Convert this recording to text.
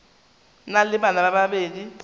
na le bana ba babedi